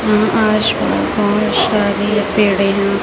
यहाँ आसपास बहोत सारे पेड़े है।